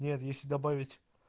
нет если добавить